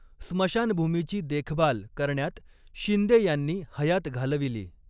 स्मशानभूमीची देखभाल करण्यात शिंदे यांनी हयात घालविली.